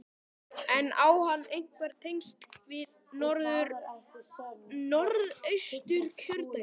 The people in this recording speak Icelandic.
En á hann einhver tengsl við Norðausturkjördæmi?